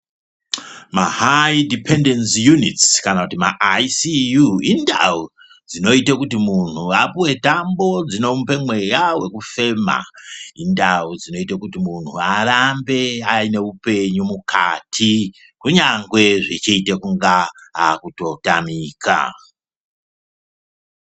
Mahai idhipendenzi unitsi kana kuti maisiyu indau dzinoite kuti muntu apive tambo dzinomupe mweya vekufema. Indau dzinoite kuti muntu arambe aine ipenyu mukati kunyangwe zvichiita kunga akutotamika.